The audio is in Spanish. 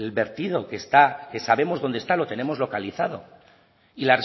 vertido que está que sabemos dónde está lo tenemos localizado y